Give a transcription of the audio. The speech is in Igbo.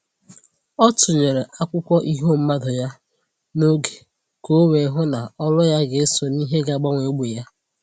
Ọ tụnyere akwụkwọ iho mmadụ ya n'oge ka o wee hụ ná olu ya ga eso n'ìhè ga agbanwe ógbè ya.